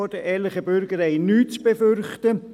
Zweitens, ehrliche Bürger haben nichts zu befürchten.